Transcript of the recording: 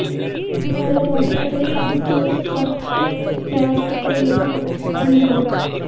ਮੇਰੇ ਟਮਾਟਰ ਅਤੇ ਅੱਧੇ ਦੇ ਕੱਟ ਪਿਆਜ਼ ਅਤੇ ਲਸਣ ਪੀਲ ਕਰੋ